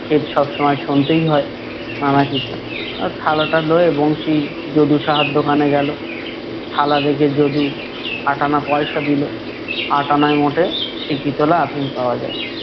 খেদ সবসময় শুনতেই হয় নানা কিছু আহ থালাটা লয়ে বংশী যদু সাহার দোকানে গেলো। থালা রেখে যদু আটা আনা পয়সা দিলো। আটা আনায় মোটে সিকি তলা আফিম পাওয়া যায়।